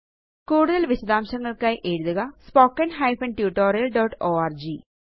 കൂടുതല് വിശദാംശങ്ങള്ക്കായി എഴുതുക spoken hyphen tutorial dot org